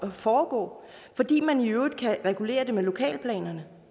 foregå fordi man i øvrigt kan regulere det med lokalplanerne